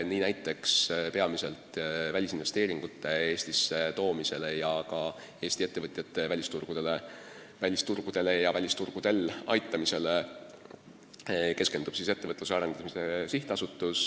Nii näiteks keskendub välisinvesteeringute Eestisse toomisele ja ka Eesti ettevõtjate välisturgudel ja välisturgudele aitamisele Ettevõtluse Arendamise Sihtasutus.